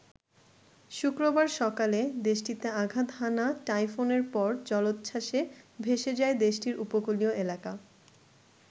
শুক্রবার সকালে দেশটিতে আঘাত হানা টাইফুনের পর জলোচ্ছ্বাসে ভেসে যায় দেশটির উপকূলীয় এলাকা।